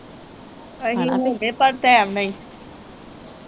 ਅਸੀ ਹੋਗੇ ਪਰ ਟਾਇਮ ਨਾ ਈ